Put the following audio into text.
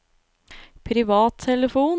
privattelefon